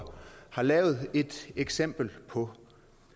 har lavet et eksempel på